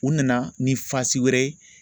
U nana ni wɛrɛ ye